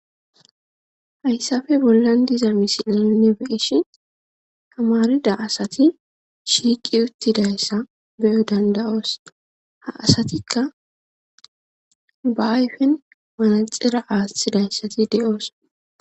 Haysapa bolan de, iza mosile nu be, shin tamarida asti shiqi utidaysa be, o danda, os ha asatika ba aspen manaxira athidaysa be,os